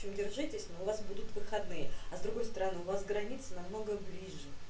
держитесь мы вас будут выходные а с другой стороны у вас границы намного ближе